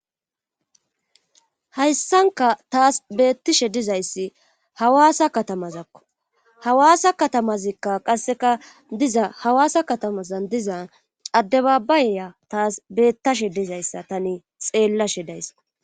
Hayssanka taas beettishe dizayssi hawaasa katamazakko hawaasa katamazikka qasseka diza hawaasa katamazan diza adde baabayeya taas beettashe dizayssa tani xeellashe daysako.